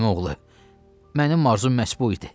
Əmioğlu, mənim arzum məhz bu idi.